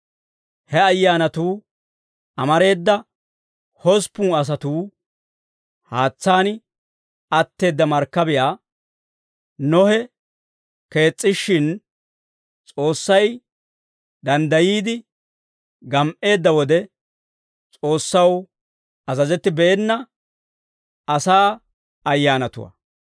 He ayyaanatuu amareeda, hosppun asatuu haatsaan atteedda markkabiyaa Nohe kees's'ishshin, S'oossay danddayiide gam"eedda wode, S'oossaw azazettibeena asaa ayyaanatuwaa.